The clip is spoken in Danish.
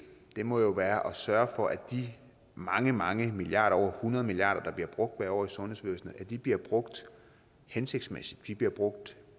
må jo være at sørge for at de mange mange milliarder over hundrede milliard kr der bliver brugt hvert år i sundhedsvæsenet bliver brugt hensigtsmæssigt bliver brugt